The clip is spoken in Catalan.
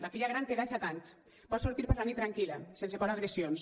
la filla gran té desset anys pot sortir per la nit tranquil·la sense por a agressions